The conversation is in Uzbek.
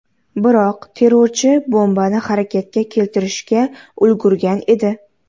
Biroq terrorchi bombani harakatga keltirishga ulgurgan edi.